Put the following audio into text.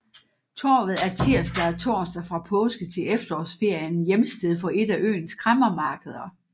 Torvet er tirsdag og torsdag fra påske til efterårsferien hjemsted for et af øens kræmmermarkeder